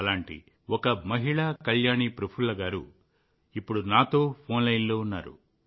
అలాంటి ఒక మహిళ కళ్యాణి ప్రఫుల్ల పాటిల్ గారు ఇప్పుడు నాతో ఫోన్ లైన్లో ఉన్నారు